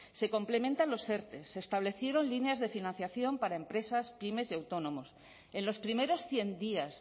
se complementan los erte se establecieron líneas de financiación para empresas pymes y autónomos en los primeros cien días